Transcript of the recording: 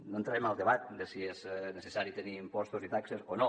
no entrarem al debat de si és necessari tenir impostos i taxes o no